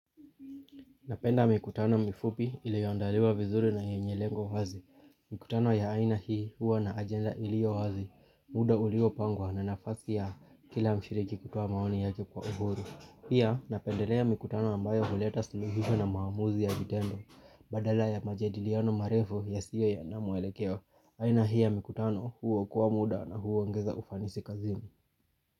Napenda mikutano mifupi iliyoandaliwa vizuri na yenye lengo wazi. Mikutano ya aina hii huwa na ajenda iliyo wazi. Muda uliopangwa na nafasi ya kila mshiriki kutoa maoni yake kwa uhuru. Pia napendelea mikutano ambayo huleta suluhisho na maamuzi ya vitendo. Badala ya majadiliano marefu yasiyo na mwelekeo. Aina hii ya mikutano huokoa muda na huongeza ufanisi kazini.